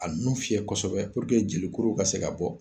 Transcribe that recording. A nu fiyɛ kosɛbɛ puruke jelikuruw ka se ka bɔ